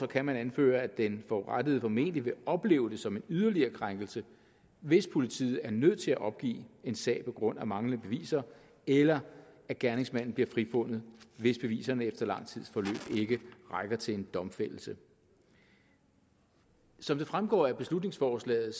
kan man anføre at den forurettede formentlig vil opleve det som en yderligere krænkelse hvis politiet er nødt til at opgive en sag på grund af manglende beviser eller gerningsmanden bliver frifundet hvis beviserne efter lang tids forløb ikke rækker til en domfældelse som det fremgår af beslutningsforslaget